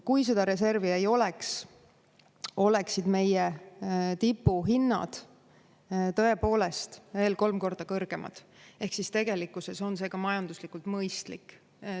Kui seda reservi ei oleks, oleksid meie tipuhinnad tõepoolest veel kolm korda kõrgemad, ehk siis tegelikkuses on see ka majanduslikult mõistlik.